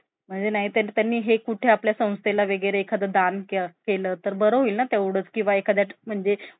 म्हणजे नाही त्यांनी हे कुठे आपल्या संस्थेला वगैरे एखाद दान केलं तर बरं होईल ना तेवढंच किंवा एखाद्या म्हणजे